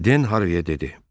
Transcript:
Den Harviyə dedi.